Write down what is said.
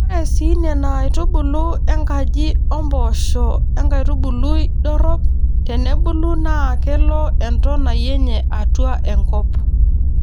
Ore sii Nena aitubulu enkaji oo mpoosho enkaitubului dorrop tenebulu naa kelo entonai enye atua enkop.